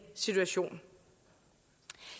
situation